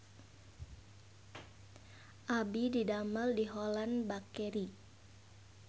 Abdi didamel di Holland Bakery